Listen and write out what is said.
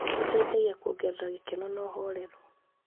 Ũteithagia kuongerera gĩkeno na ũhoreru.